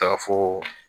Taa foo